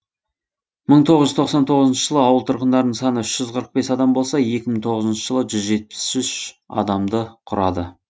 мың тоғыз жүз тоқсан тоғызыншы жылы ауыл тұрғындарының саны үш жүз қырық бес адам болса екі мың тоғызыншы жылы жүз жетпіс үш адамды құрады